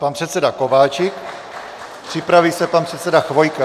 Pan předseda Kováčik, připraví se pan předseda Chvojka.